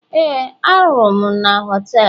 Éè, ahụrụ m m na họtelu